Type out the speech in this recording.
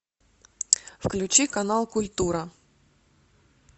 включи канал культура